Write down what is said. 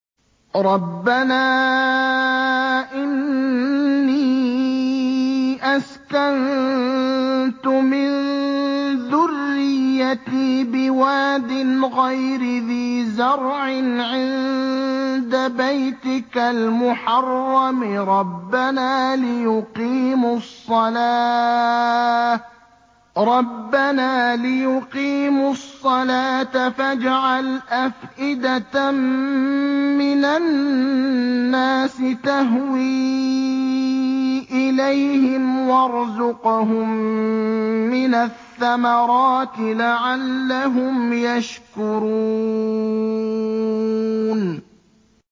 رَّبَّنَا إِنِّي أَسْكَنتُ مِن ذُرِّيَّتِي بِوَادٍ غَيْرِ ذِي زَرْعٍ عِندَ بَيْتِكَ الْمُحَرَّمِ رَبَّنَا لِيُقِيمُوا الصَّلَاةَ فَاجْعَلْ أَفْئِدَةً مِّنَ النَّاسِ تَهْوِي إِلَيْهِمْ وَارْزُقْهُم مِّنَ الثَّمَرَاتِ لَعَلَّهُمْ يَشْكُرُونَ